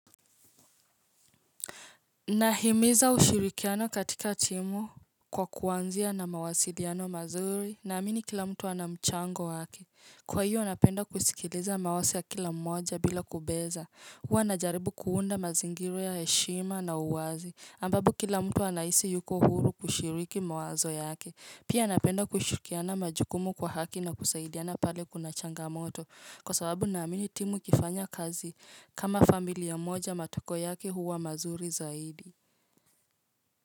Nahimiza ushirikiano katika timu kwa kuanzia na mawasiliano mazuri, naamini kila mtu ana mchango wake. Kwa hiyo napenda kusikiliza mawazo ya kila mmoja bila kubeza. Huwa najaribu kuunda mazingira ya heshima na uwazi, ambapo kila mtu anahisi yuko huru kushiriki mawazo yake. Pia napenda kushirikiana majukumu kwa haki na kusaidiana pale kuna changamoto kwa sababu naamini timu ikifanya kazi kama familia moja matokeo yake huwa mazuri zaidi.